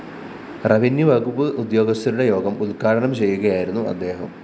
revenue വകുപ്പ് ഉദ്യോഗസ്ഥരുടെ യോഗം ഉദ്ഘാടനം ചെയ്യുകയായിരുന്നു അദ്ദേഹം